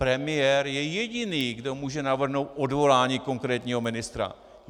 Premiér je jediný, kdo může navrhnout odvolání konkrétního ministra.